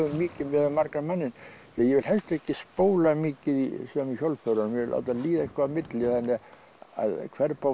mikið miðað við margan manninn því ég vil helst ekki spóla mikið í sömu hjólförunum ég vil láta líða eitthvað á milli þannig að hver bók